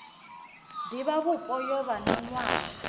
divhavhupo yo vha na nwaha